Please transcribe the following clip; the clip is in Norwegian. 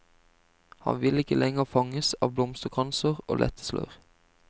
Han vil ikke lenger fanges av blomsterkranser og lette slør.